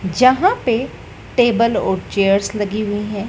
जहां पे टेबल और चेयर्स लगी हुई है।